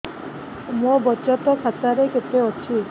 ମୋ ବଚତ ଖାତା ରେ କେତେ ଅଛି